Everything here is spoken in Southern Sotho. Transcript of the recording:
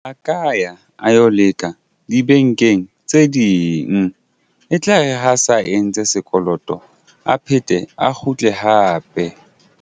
A ka ya a yo leka dibankeng tse ding e tlare ha a sa entse sekoloto a phethe a kgutle hape.